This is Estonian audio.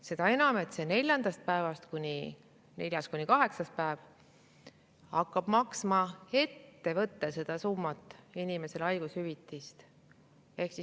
Seda enam, et neljandast päevast kuni kaheksanda päevani maksab seda summat, inimese haigushüvitist ettevõte ise.